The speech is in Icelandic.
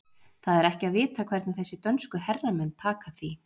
Það er ekki að vita hvernig þessir dönsku herramenn taka því.